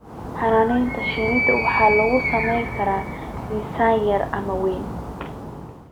Xannaanada shinnida waxaa lagu samayn karaa miisaan yar ama weyn.